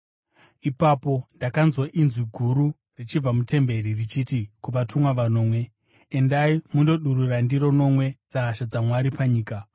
Ipapo ndakanzwa inzwi guru richibva mutemberi richiti: kuvatumwa vanomwe, “Endai, mundodurura ndiro nomwe dzehasha dzaMwari panyika.”